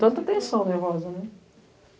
Tanta tensão nervosa, né.